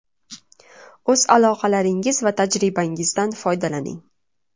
O‘z aloqalaringiz va tajribangizdan foydalaning.